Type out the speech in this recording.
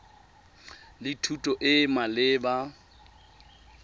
le thuto e e maleba